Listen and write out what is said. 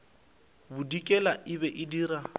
bodikela e be e dira